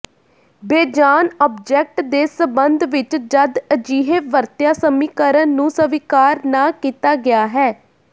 ਬੇਜਾਨ object ਦੇ ਸਬੰਧ ਵਿੱਚ ਜਦ ਅਜਿਹੇ ਵਰਤਿਆ ਸਮੀਕਰਨ ਨੂੰ ਸਵੀਕਾਰ ਨਾ ਕੀਤਾ ਗਿਆ ਹੈ